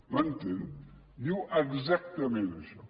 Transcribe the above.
m’entén diu exactament això